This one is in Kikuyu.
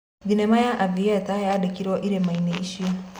Thinema ya Avatar yandikirwo irima-ini icio